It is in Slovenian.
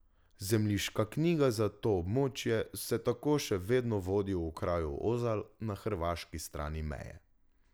Zemljiška knjiga za to območje se tako še vedno vodi v kraju Ozalj na hrvaški strani meje.